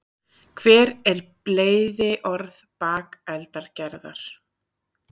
hver er bleyðiorð bakeldagerðar